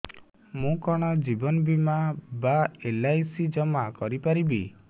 ମୁ କଣ ଜୀବନ ବୀମା ବା ଏଲ୍.ଆଇ.ସି ଜମା କରି ପାରିବି